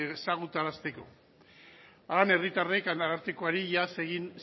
ezagutarazteko horrela herritarrek arartekoari iaz egin